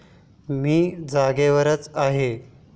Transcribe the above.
मी जागेवरच आहे.